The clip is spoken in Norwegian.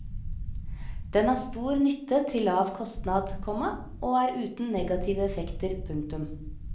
Den har stor nytte til lav kostnad, komma og er uten negative effekter. punktum